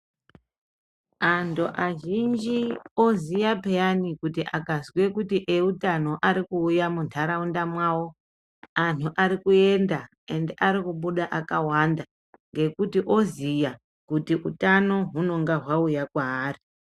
Antu azhinji oziya peyani kuti akazwe kuti e utano ari ku uya mu ndaraunda mwawo anhu ari kuenda ende ari kubuda akawanda ngekuti oziya kuti utano hunonga hwauya kwa ari.